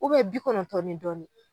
bi kɔnɔntɔn ni dɔɔni